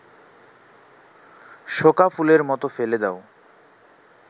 শোঁকা ফুলের মতো ফেলে দাও